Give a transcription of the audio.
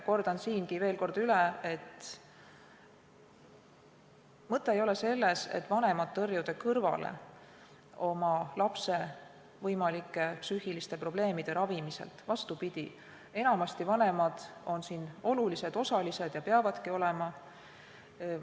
Kordan üle, et mõte ei ole selles, et vanemaid tõrjuda kõrvale lapse võimalike psüühiliste probleemide ravimiselt, vaid vastupidi, enamasti on vanemad siin olulised osalised ja peavadki olema.